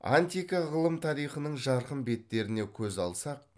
антика ғылым тарихының жарқын беттеріне көз алсақ